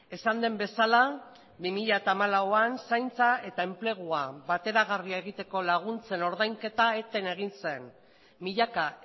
esan den bezala bi mila hamalauan zaintza eta enplegua bateragarria egiteko laguntzen ordainketa eten egin zen milaka